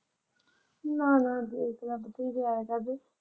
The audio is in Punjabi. ਨਾ ਦੇਖ ਲੱਭ ਕੇ ਜੇ ਆ ਜਾਵੇ।